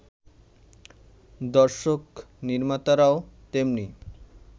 দর্শক-নির্মাতারাও তেমনি